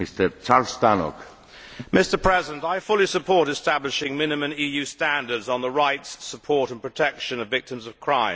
Mr President, I fully support establishing minimum EU standards on the rights, support and protection of victims of crime.